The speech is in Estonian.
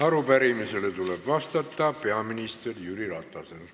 Arupärimisele tuleb vastata peaminister Jüri Ratasel.